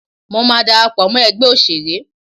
Mọ máa darapọ̀ mọ́ ẹgbẹ́ òṣèré.